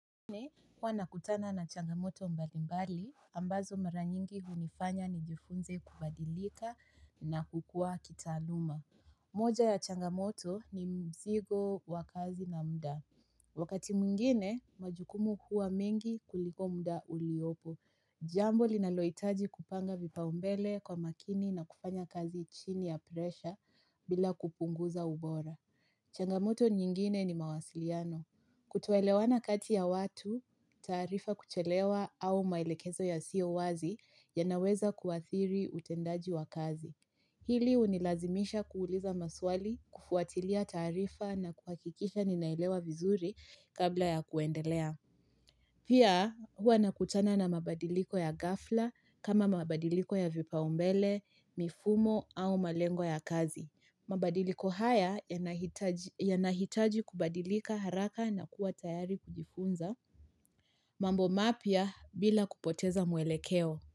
Huwa nakutana na changamoto mbalimbali, ambazo mara nyingi hunifanya nijifunze kubadilika na kukua kitaaluma. Moja ya changamoto ni mzigo wa kazi na mda. Wakati mwingine, majukumu huwa mengi kuliko mda uliopo. Jambo linalohitaji kupanga vipaumbele kwa makini na kufanya kazi chini ya presha bila kupunguza ubora. Changamoto nyingine ni mawasiliano. Kutoelewana kati ya watu, taarifa kuchelewa au maelekezo yasiyo wazi yanaweza kuathiri utendaji wa kazi. Hili hunilazimisha kuuliza maswali kufuatilia tarifa na kuhakikisha ninaelewa vizuri kabla ya kuendelea. Pia huwa nakutana na mabadiliko ya ghafla kama mabadiliko ya vipaumbele, mifumo au malengo ya kazi. Mabadiliko haya yanahitaji kubadilika haraka na kuwa tayari kujifunza mambo mapya bila kupoteza mwelekeo.